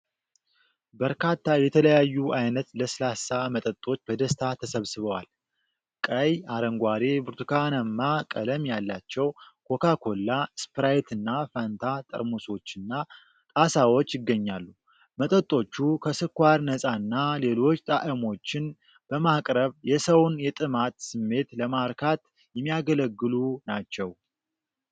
በርካታ የተለያዩ ዓይነት ለስላሳ መጠጦች በደስታ ተሰብስበዋል። ቀይ፣ አረንጓዴ፣ ብርቱካንማ ቀለም ያላቸው ኮካ ኮላ፣ ስፕራይትና ፋንታ ጠርሙሶችና ጣሳዎች ይገኛሉ። መጠጦቹ ከስኳር ነፃና ሌሎች ጣዕሞችን በማቅረብ የሰውን የጥማት ስሜት ለማርካት የሚያገለግሉ ናቸው።